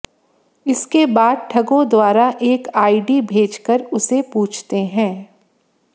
इसके बाद ठगों द्वारा एक आईडी भेजकर उसे पूछते हैं